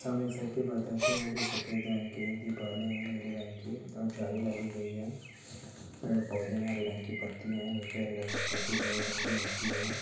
सामने एक साइड पेे बताते हैं जो सफेद रंग के है दीवाले हैं नीले रंग की और जारी लगी गई है। पेड़ पौधे हरे रंग की पत्तियां नीचे हरे रंग की पट्टी बुरे रंग की मिट्टी है।